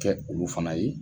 Kɛ olu fana ye